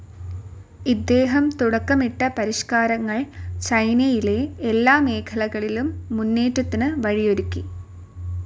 ഇദ്ദേഹം തുടക്കമിട്ട പരിഷ്ക്കാരങ്ങൾ ചൈനയിൽ എല്ലാ മേഖലകളിലും മുന്നേറ്റത്തിനു വഴിയൊരുക്കി.